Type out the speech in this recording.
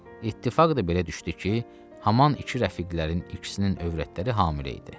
İttifaq da belə düşdü ki, haman iki rəfiqlərin ikisinin övrətləri hamilə idi.